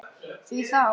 Því þá?